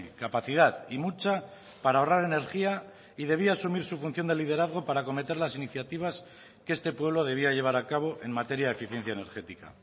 capacidad y mucha para ahorrar energía y debía asumir su función de liderazgo para acometer las iniciativas que este pueblo debía llevar a cabo en materia de eficiencia energética